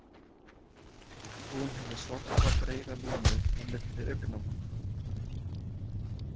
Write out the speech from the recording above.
Hún hefur svarta breiða línu á milli augnanna.